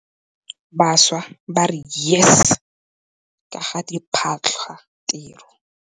Bašwa ba re YES ka ga diphatlhatiro.